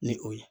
Ni o ye